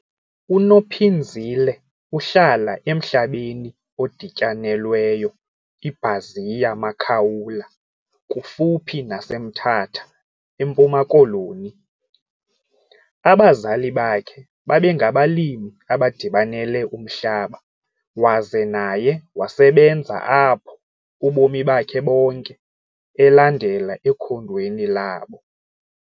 UNophinzile uhlala emhlabeni odityanelweyo iBaziya Makaula kufuphi naseMthatha eMpuma Koloni. Abazali bakhe babengabalimi abadibanele umhlaba waze naye wasebenza apho ubomi bakhe bonke elandela ekhondweni labo.